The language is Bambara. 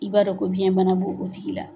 I b'a dɔn ko biyɛn bana bo o tigi la.